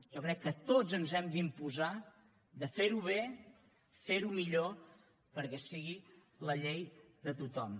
jo crec que tots ens hem d’imposar de ferho bé ferho millor perquè sigui la llei de tothom